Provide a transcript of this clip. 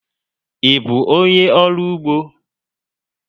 Ị bụ onyé ọrụ úgbó?